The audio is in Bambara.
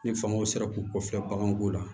Ni fangaw sera k'u kɔfilɛ baganw ko la